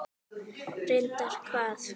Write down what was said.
Reyndar hvað?